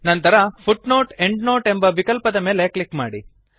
ನಂತರ footnoteಎಂಡ್ನೋಟ್ ಎಂಬ ವಿಕಲ್ಪದ ಮೇಲೆ ಕ್ಲಿಕ್ ಮಾಡಿ